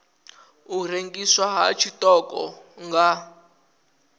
u rengiswa ha tshiṱoko nga